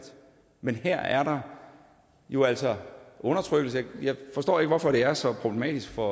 men her der er jo altså undertrykkelse og jeg forstår ikke hvorfor det er så problematisk for